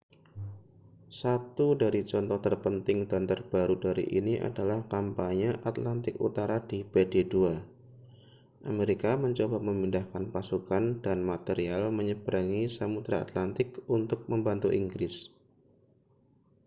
satu dari contoh terpenting dan terbaru dari ini adalah kampanye atlantik utara di pdii amerika mencoba memindahkan pasukan dan material menyeberangi samudera atlantik untuk membantu inggris